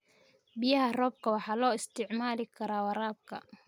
Biyaha roobka waxaa loo isticmaali karaa waraabka.